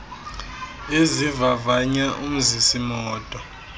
ezivavanya umzisi moto